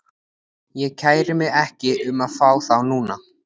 Ég kæri mig ekki um að fá þá núna.